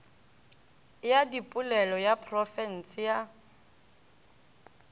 ya dipolelo ya profense ya